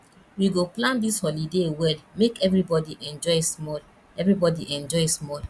we go plan dis holiday well make everybodi enjoy small everybodi enjoy small